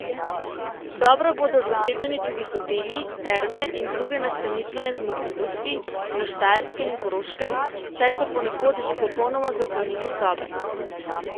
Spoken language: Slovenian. Dobro bodo zasedeni tudi hoteli, terme in druge nastanitvene zmogljivosti na Štajerskem in Koroškem, saj so ponekod že popolnoma zapolnili sobe.